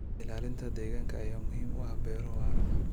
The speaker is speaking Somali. Ilaalinta deegaanka ayaa muhiim u ah beero waara.